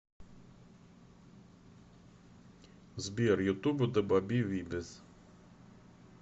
сбер ютуб дабаби вибез